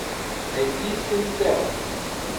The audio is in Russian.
найти синтел